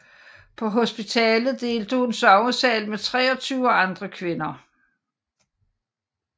På hospitalet delte hun sovesal med 23 andre kvinder